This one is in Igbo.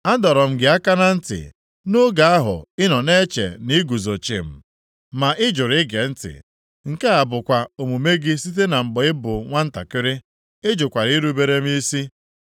Adọrọ m gị aka na ntị nʼoge ahụ ị nọ na-eche na i guzo chịm, ma ị jụrụ ige ntị. Nke a bụkwa omume gị site na mgbe ị bụ nwantakịrị. Ị jụkwara irubere m isi.